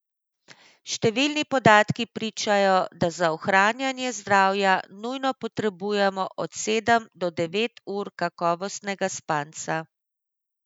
Številni podatki pričajo, da za ohranjanje zdravja nujno potrebujemo od sedem do devet ur kakovostnega spanja.